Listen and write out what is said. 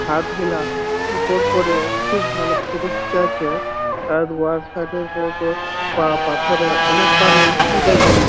হাত গেলা উপর করে খুব ভালো ফটো খিচাচ্ছে আর উয়ার উপর পা পাথরে অনেক পানি দেখাচ্ছে ।